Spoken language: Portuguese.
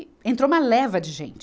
E entrou uma leva de gente.